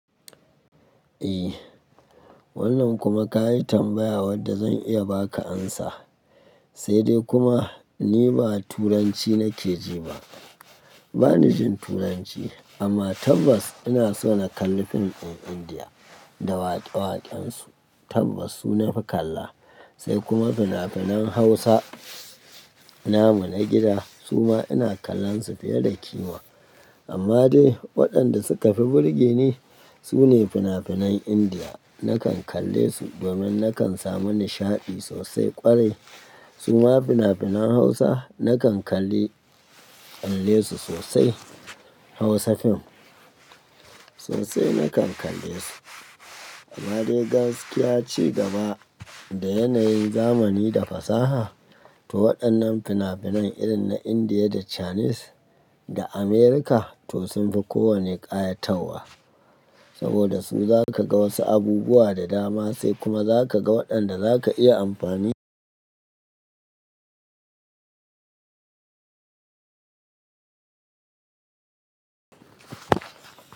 Eh, wannan kuma ka yi tambaya wadda zan iya ba ka amsa, sai dai kuma ni ba Turanci nake ji ba. Ba ni jin Turanci amma tabbas ina so na kalli fim ɗin Indiya da waƙe-waƙen su, tabbas su nafi kalla sai kuma fina-finan Hausa, namu na gida su ma ina kallon su fiye da kima. Amma dai waɗanda suka fi burge ni su ne fina-finan Indiya. Nakan kalle su domin nakan samu nishaɗi sosai kwarai. Su ma fina-finan Hausa nakan kalle kalle su sosai. Hausa fim sosai nakan kalle su. Amma dai gaskiya ci gaba da yanayin zamani da fasaha to waɗannan fina-finan irin na Indiya da Chinese da America to sun fi kowanne ƙayatarwa. Saboda su za ka ga wasu abubuwa da dama sai kuma za ka ga waɗanda za ka iya amfani.